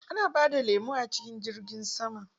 Ana bada lemo a cikin jirgin sama?